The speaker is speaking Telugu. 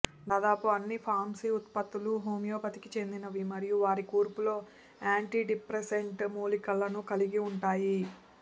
దాదాపు అన్ని ఫార్మసీ ఉత్పత్తులు హోమియోపతికి చెందినవి మరియు వారి కూర్పులో యాంటిడిప్రెసెంట్ మూలికలను కలిగి ఉంటాయి